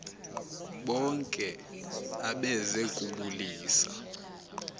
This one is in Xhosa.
bonke abeze kubulisa